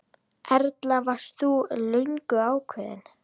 Erla: Varst þú löngu ákveðin?